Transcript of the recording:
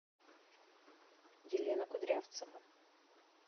елена кудрявцева